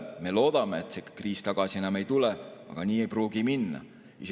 Me loodame, et see kriis enam tagasi ei tule, aga nii ei pruugi minna.